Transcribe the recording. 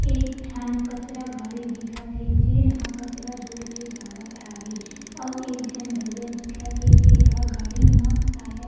एक ठन कचरा गाड़ी दिखत हे जेन ह कचरा जोर के जावत हावे आऊ एक झन भईया दिखत हे जे ह गाड़ी म शायद--